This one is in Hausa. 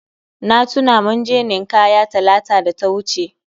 Na tuna mun je nin'kaya Talata da ta wuce